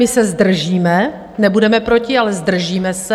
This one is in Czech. My se zdržíme, nebudeme proti, ale zdržíme se.